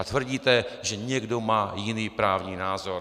A tvrdíte, že někdo má jiný právní názor.